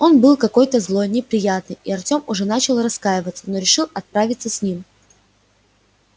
был он какой-то злой неприятный и артём уже начал раскаиваться что решился отправиться с ним